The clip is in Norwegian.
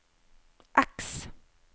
X